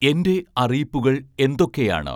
എന്റെ അറിയിപ്പുകൾ എന്തൊക്കെയാണ്